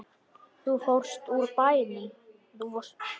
Þú fórst burt úr bænum.